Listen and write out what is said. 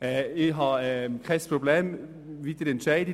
Ich habe kein Problem, egal wie Sie entscheiden.